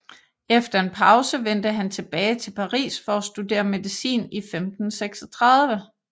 Efter en pause vendte han tilbage til Paris for at studere medicin i 1536